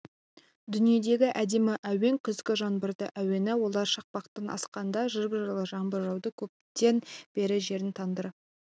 дүниедегі әдемі әуен күзгі жанбырдың әуені олар шақпақтан асқанда жып-жылы жаңбыр жауды көптен бері жердің тандыры